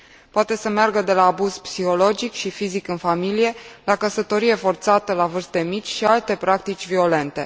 Poate să meargă de la abuz psihologic și fizic în familie la căsătorie forțată la vârste mici și alte practici violente.